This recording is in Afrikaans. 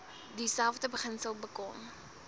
dieselfde beginsel bekom